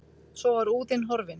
Svo var úðinn horfinn.